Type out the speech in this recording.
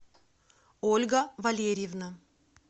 ольга валерьевна